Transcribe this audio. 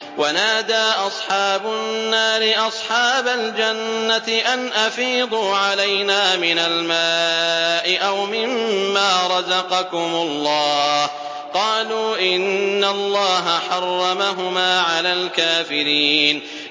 وَنَادَىٰ أَصْحَابُ النَّارِ أَصْحَابَ الْجَنَّةِ أَنْ أَفِيضُوا عَلَيْنَا مِنَ الْمَاءِ أَوْ مِمَّا رَزَقَكُمُ اللَّهُ ۚ قَالُوا إِنَّ اللَّهَ حَرَّمَهُمَا عَلَى الْكَافِرِينَ